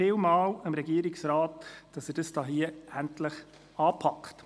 Vielen Dank an den Regierungsrat, dass er dies hier endlich anpackt.